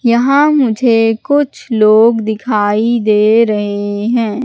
यहां मुझे कुछ लोग दिखाई दे रहे हैं।